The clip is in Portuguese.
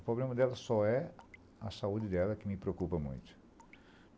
O problema dela só é a saúde dela que me preocupa muito.